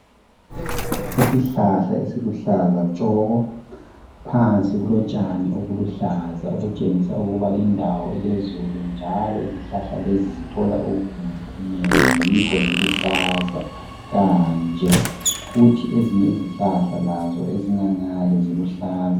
Isihlahla esiluhlaza tshoko, phansi kulotshani obuluhlaza okutshengisa ukuba lindawo ilezulu njalo izihlahla lezi zithola okunengi yikho ziluhlaza kanje, kuthi ezinye izihlahla lazo ezingangale ziluhlaza.